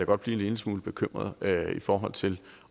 godt blive en lille smule bekymret i forhold til